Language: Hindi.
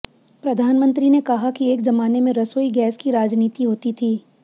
प्रधानमंत्री ने कहा कि एक जमाने में रसोई गैस की राजनीति होती थी